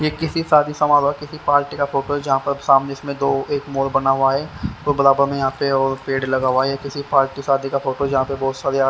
ये किसी शादी समारोह हुआ किसी पार्टी का फोटो है जहाँ पर सामने इसमें दो एक मोर बना हुआ है दो बराबर में यहाँ पे और पेड़ लगा हुआ है ये किसी पार्टी शादी का फोटो जहाँ पे बहुत सारी--